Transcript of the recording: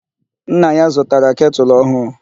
Nna ya zụtara ketụlụ ọhụụ..